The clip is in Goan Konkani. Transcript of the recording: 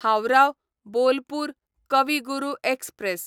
हावराह बोलपूर कवी गुरू एक्सप्रॅस